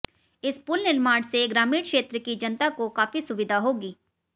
इस पुल निर्माण से ग्रामीण क्षेत्र की जनता को काफी सुविधा होगी